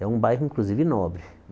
É um bairro, inclusive, nobre.